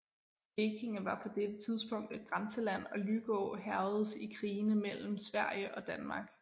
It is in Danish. Blekinge var på dette tidspunkt et grænseland og Lykå hærgedes i krigene mellem Sverige og Danmark